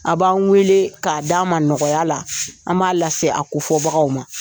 A b'an wele k'a d'an ma nɔgɔya la an b'a lase a kofɔbagaw ma